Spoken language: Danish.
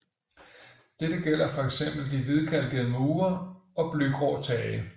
Dette gælder for eksempel de hvidkalkede mure og blygrå tage